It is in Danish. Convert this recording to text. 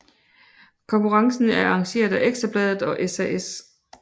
Konkurrencen er arrangeret af Ekstra Bladet og SAS